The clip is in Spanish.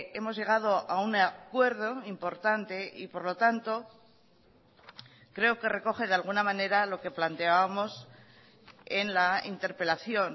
hemos llegado a un acuerdo importante y por lo tanto creo que recoge de alguna manera lo que planteábamos en la interpelación